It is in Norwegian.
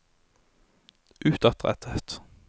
utadrettet